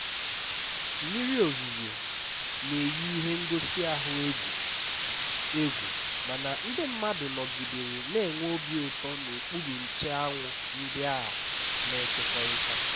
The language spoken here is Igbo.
mmiri ozuzo na-eyi ihe ngosi ahụ egwu egwu mana ndị mmadụ nọgidere na-enwe obi ụtọ n'okpuru nche anwụ ndị a na-ekekọrịta